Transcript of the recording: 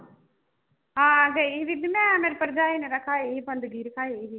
ਹਾਂ ਗਈ ਬੀਬੀ ਮੈਂ ਮੇਰੀ ਭਰਜਾਈ ਨੇ ਰਖਾਈ ਸੀ ਕੰਜਕੀ ਰਖਾਈ ਸੀਗੀ।